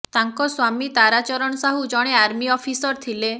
ତାଙ୍କ ସ୍ୱାମୀ ତାରା ଚରଣ ସାହୁ ଜଣେ ଆର୍ମି ଅଫିସର ଥିଲେ